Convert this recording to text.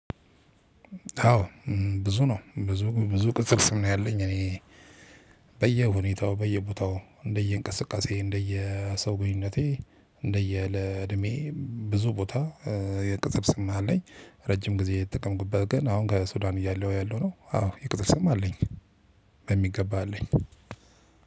አዎ። ብዙ ነው ብዙ ብዙ ቅጽል ስም ነው ያለኝ እኔ። በየሁኔታው በየቦታው እንደየእንቅስቃሴ እንደየሰው ግንኙነቴ እንደየለዕድሜ ብዙ ቦታ። የቅጽል ስም አለኝ ረጅም ጊዜ የተጠቀምኩበት ግን አሁን ከሱዳን እያለሁ ያለው ነው። አዎ የቅጽል ስም አለኝ። በሚገባ አለኝ።